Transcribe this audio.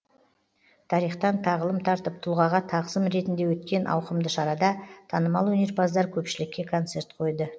тарихтан тағылым тартып тұлғаға тағзым ретінде өткен ауқымды шарада танымал өнерпаздар көпшілікке концерт қойды